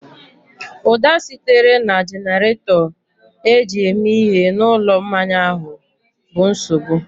Ụda sitere na jenerato eji eme ihe na ụlọ mmanya ahụ bụ nsogbu